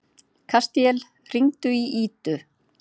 Kastíel, hringdu í Ídu.